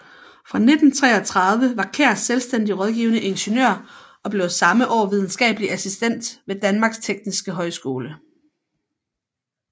Fra 1933 var Kjær selvstændig rådgivende ingeniør og blev samme år videnskabelig assistent ved Danmarks Tekniske Højskole